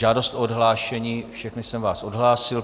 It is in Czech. Žádost o odhlášení - všechny jsem vás odhlásil.